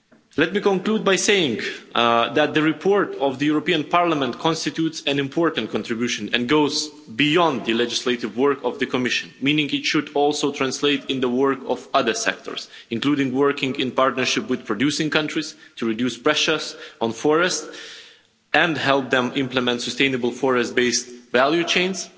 Let me conclude by saying that the report of the European Parliament constitutes an important contribution and goes beyond the legislative work of the Commission, meaning it should also translate in the work of other sectors, including working in partnership with producing countries to reduce pressures on forest and help them implement sustainable forest-based value